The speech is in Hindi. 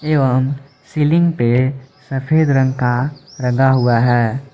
एवं सीलिंग पे सफेद रंग का लगा हुआ है।